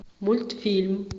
мультфильм